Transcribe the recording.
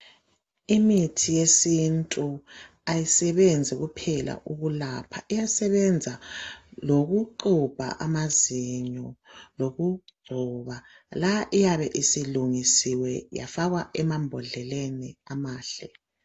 Imithi yesintu ayisebenzi kuphela ukulapha, iyasebenza lokuxhubha amazinyo loku gcoba. Lapha iyabe isilungisiwe yafakwa ema mbodleleni amahle.